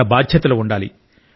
మన బాధ్యతలు ఉండాలి